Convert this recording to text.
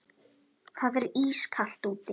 Það er ískalt úti.